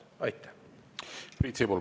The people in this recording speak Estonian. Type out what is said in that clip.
Priit Sibul, palun!